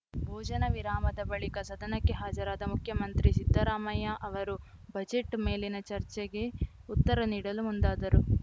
ಭೋಜನ ವಿರಾಮದ ಬಳಿಕ ಸದನಕ್ಕೆ ಹಾಜರಾದ ಮುಖ್ಯಮಂತ್ರಿ ಸಿದ್ದರಾಮಯ್ಯ ಅವರು ಬಜೆಟ್‌ ಮೇಲಿನ ಚರ್ಚೆಗೆ ಉತ್ತರ ನೀಡಲು ಮುಂದಾದರು